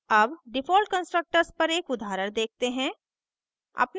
अब default constructors पर एक उदाहरण देखते हैं